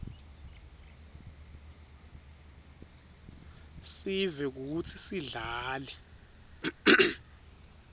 sive kutsi sidlale